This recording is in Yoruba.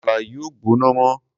Àmàlà yìí ò gbóná mọ́.